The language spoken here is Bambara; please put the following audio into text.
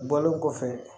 Bɔlen kɔfɛ